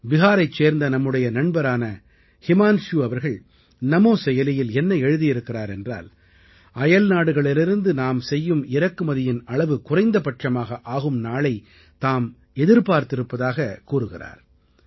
பிஹாரைச் சேர்ந்த நம்முடைய நண்பரான ஹிமான்சு அவர்கள் நமோ செயலியில் என்ன எழுதியிருக்கிறார் என்றால் அயல்நாடுகளிலிருந்து நாம் செய்யும் இறக்குமதியின் அளவு குறைந்தபட்சமாக ஆகும் நாளை எதிர்பார்த்திருப்பதாக அவர் கூறுகிறார்